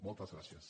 moltes gràcies